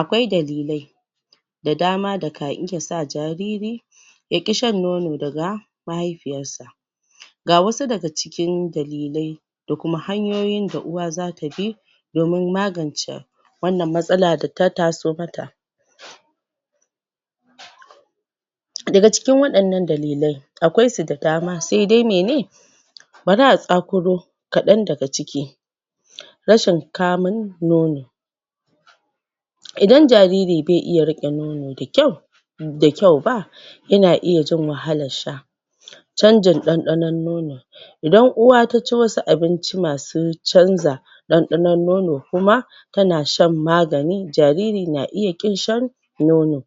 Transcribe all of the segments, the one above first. Akwai dalilai da dama da ka iya sa jariri yaƙi shan nono daga mahaifiyar sa ga wasu daga cikin dalilai da kuma hanyoyin da uwa zata bi domin magance wannan matsala data taso mata daga cikin waɗannan dalilai akwai su da dama, sai dai mene bari a tsakuro kaɗan daga ciki rashin kamun nono idan jariri bai iya riƙe nono da kyau da kyau ba yana iya jin wahalar sha canjin ɗanɗanon nono idan uwa ta ci wasu abinci masu canza ɗanɗɗano nono kuma tana shan magani jariri na iya ƙin shan nono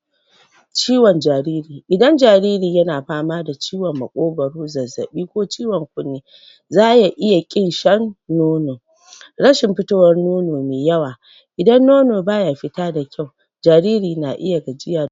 ciwon jariri, idan jariri yana fama da ciwon maƙogaro, zazzaɓi ko ciwon kunne zaya iya ƙin shan nono rashin fitowar nono mai yawa idan nono baya fita da kyau jariri na iya gajiya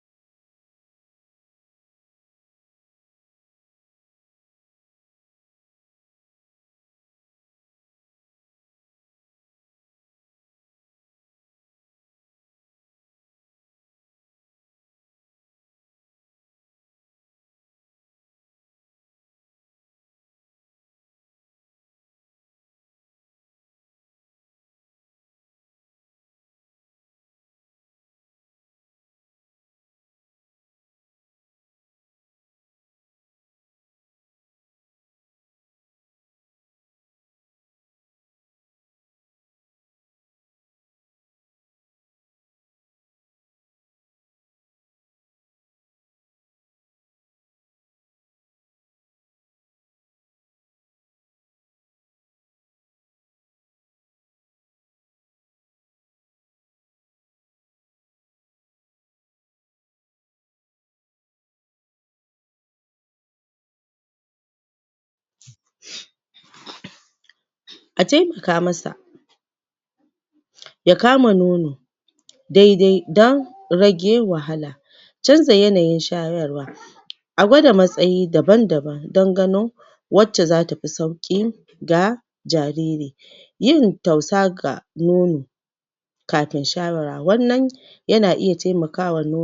sa taimaka masa ya kama nono daidai don rage wahala canza yanayin shayarwa a gwada matsayi daban daban dan gano wacce zata fi sauki ga 'jariri yin tausa ga nnono kafin shawar wannan yana iya taimakawa nono